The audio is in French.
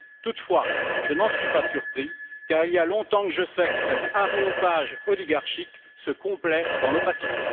toutefois, je n'en suis pas surpris, car il y a longtemps que je sais que cet aréopage oligarchique se complaît dans l'opacité.